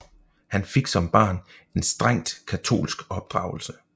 Han fik som barn en strengt katolsk opdragelse